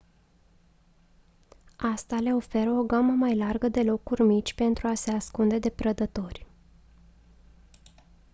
asta le oferă o gamă mai largă de locuri mici pentru a se ascunde de prădători